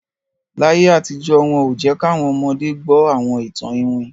Láyé àtijọ́, wọn ò jẹ́ káwọn ọmọde gbọ́ àwọn ìtàn ìwin